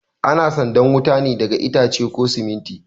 Ana sandan wuta ne daga itace ko siminti